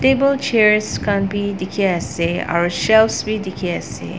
table chairs khan bi dikhiase aro shelf bi dikhiase.